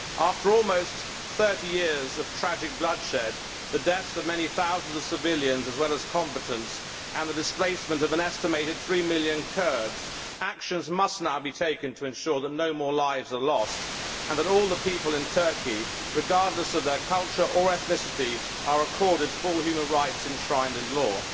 After almost 30 years of tragic bloodshed, the deaths of many thousands of civilians as well as combatants and the displacement of an estimated three million Kurds, actions must now be taken to ensure that no more lives are lost and that all the people in Turkey, regardless of their culture or ethnicity, are accorded full human rights enshrined in law.